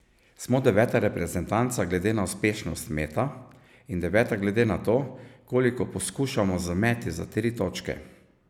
Smo deveta reprezentanca glede na uspešnost meta in deveta glede na to, koliko poskušamo z meti za tri točke.